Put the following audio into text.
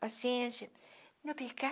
paciente, não pica.